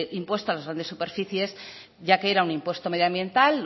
impuesto a las grandes superficies ya que era un impuesto medioambiental